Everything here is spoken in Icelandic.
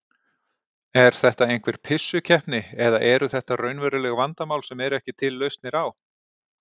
Er þetta einhver pissukeppni eða eru þetta raunveruleg vandamál sem eru ekki til lausnir á?